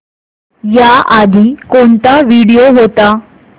याआधी कोणता व्हिडिओ होता